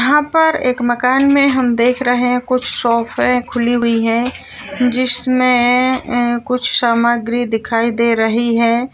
यहाँ पर एक मकान में हम देख रहे है कुछ शोपे खुली हुई है जिनमें कुछ सामग्रि दिखाई दे रही हैं।